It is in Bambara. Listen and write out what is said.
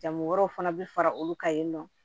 Jamu wɛrɛw fana bɛ fara olu kan yen nɔ